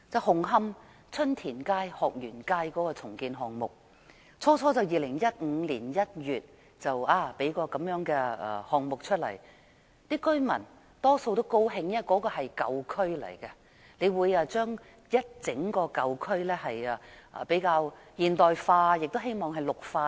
紅磡春田街、鶴園街的重建項目，最初在2015年1月提出，當時居民大多表示歡迎，因為那裏是舊區，重建可令整個舊區更現代化，亦希望能綠化等。